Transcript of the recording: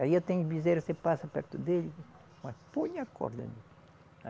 Aí eu tenho bezerro, você passa perto dele, mas põe a corda nele